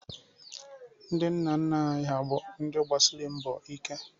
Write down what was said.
Ndị nna nna anyị ha bụ ndị gbasịrị mbọ ike.